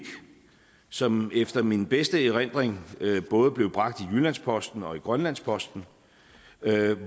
som efter min bedste erindring både blev bragt i jyllands posten og i grønlandsposten